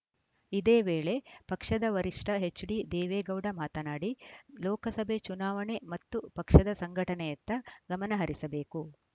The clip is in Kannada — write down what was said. ಇದೇ ವೇಳೆ ಪಕ್ಷದ ವರಿಷ್ಠ ಎಚ್‌ಡಿದೇವೇಗೌಡ ಮಾತನಾಡಿ ಲೋಕಸಭೆ ಚುನಾವಣೆ ಮತ್ತು ಪಕ್ಷದ ಸಂಘಟನೆಯತ್ತ ಗಮನಹರಿಸಬೇಕು